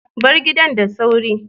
Bar gidan da sauri.